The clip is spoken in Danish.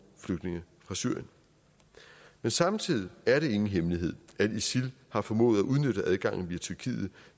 flygtninge fra syrien men samtidig er det ingen hemmelighed at isil har formået at udnytte adgangen via tyrkiet